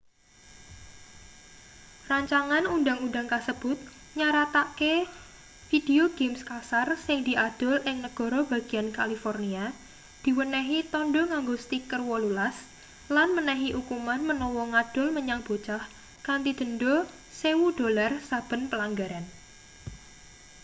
rancangan undang-undang kasebut nyaratake video games kasar sing diadol ing negara bagian california diwenehi tandha nganggo stiker 18 lan menehi ukuman menawa ngadol menyang bocah kanthi denda $1000 saben pelanggaran